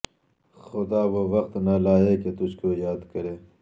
خدا وہ وقت نہ لائے کہ تجھ کو یاد کرے